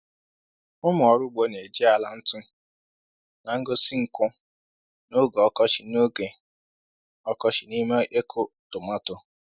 “Ụmụ ọrụ ugbo na-eji ala ntu na-egosi nkụ n’oge ọkọchị n’oge ọkọchị n’ime ịkụ tomatọ.”